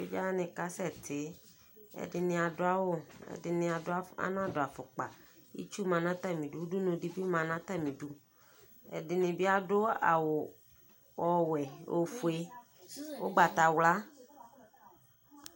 Evidze wani kasɛ ti ɛdini adʋ awʋ ɛdini anadʋ afukpa itsʋ ma nʋ atami idʋ nʋ ʋdʋnʋ ɛdini bi adʋ awʋ ɔwɛ ofue ʋgbatawla